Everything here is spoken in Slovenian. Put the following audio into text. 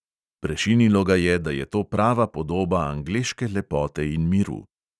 Prešinilo ga je, da je to prava podoba angleške lepote in miru.